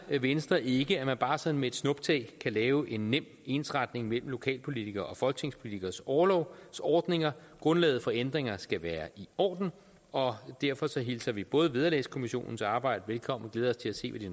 venstre ikke at man bare sådan med et snuptag kan lave en nem ensretning mellem lokalpolitikeres og folketingspolitikeres orlovsordninger grundlaget for ændringer skal være i orden og derfor hilser vi både vederlagskommissionens arbejde velkommen og glæder os til at se hvad de